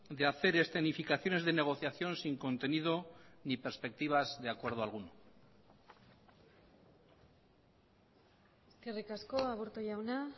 de hacer escenificaciones de negociación sin contenido ni perspectivas de acuerdo alguno eskerrik asko aburto jauna